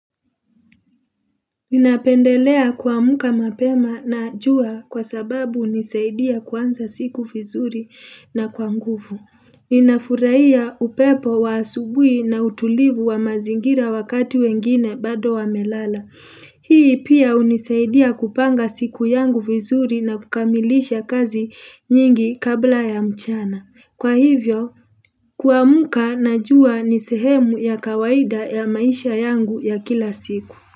Ninapendelea kuamka mapema na jua kwa sababu hunisaidia kuanza siku vizuri na kwa nguvu. Ninafurahia upepo wa asubuhi na utulivu wa mazingira wakati wengine bado wamelala. Hii pia unisaidia kupanga siku yangu fizuri na kukamilisha kazi nyingi kabla ya mchana. Kwa hivyo, kuamka na jua ni sehemu ya kawaida ya maisha yangu ya kila siku.